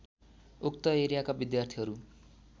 उक्त एरियाका विद्यार्थीहरू